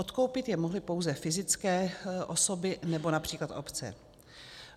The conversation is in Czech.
Odkoupit je mohly pouze fyzické osoby nebo například obce.